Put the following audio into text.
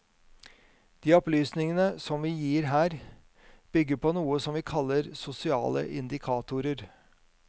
De opplysningene som vi gir her, bygger på noe som vi kaller sosiale indikatorer.